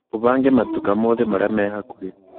ũbange matuka mothe marĩa me hakuhĩ